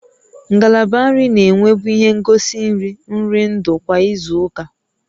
Ngalaba nri na-enwebu ihe ngosi nri nri ndụ kwa izu ụka